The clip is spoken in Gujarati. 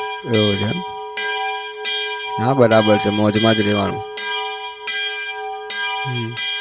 એવું છે એમ હા બરાબર છે મોજમાં જ રહેવાનું હમ